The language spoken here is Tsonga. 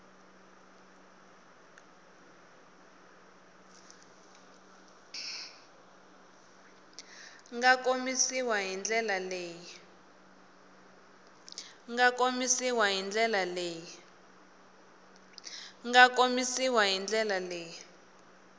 nga komisiwa hi ndlela leyi